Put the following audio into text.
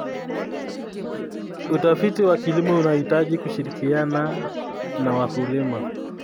Utafiti wa kilimo unahitaji kushirikiana na wakulima.